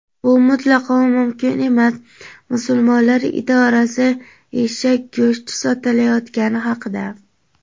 Bu mutlaqo mumkin emas – Musulmonlar idorasi eshak go‘shti sotilayotgani haqida.